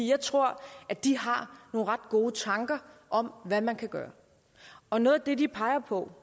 jeg tror de har nogle ret gode tanker om hvad man kan gøre og noget af det de peger på